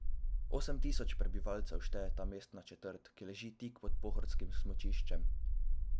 Osem tisoč prebivalcev šteje ta mestna četrt, ki leži tik pod pohorskim smučiščem.